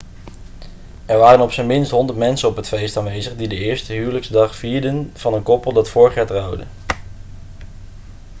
er waren op zijn minst 100 mensen op het feest aanwezig die de eerste huwelijksdag vierden van een koppel dat vorig jaar trouwde